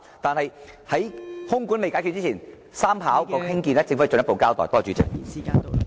在空管未解決之前，第三條跑道的興建，政府需要進一步交代。